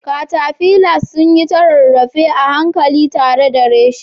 Caterpillars sun yi ta rarrafe a hankali tare da reshe